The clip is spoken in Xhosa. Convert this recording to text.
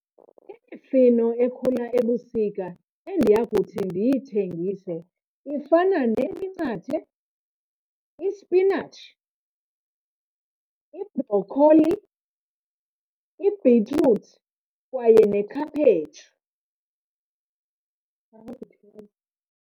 Imifino ekhula ebusika endiya kuthi ndiyithengise ifana neminqathe, isipinatshi, ibhrokholi, ibhitruthi kwaye nekhaphetshu.